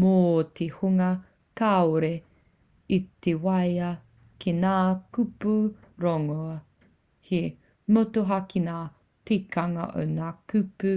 mō te hunga kāore i te waia ki ngā kupu rongoā he motuhake ngā tikanga o ngā kupu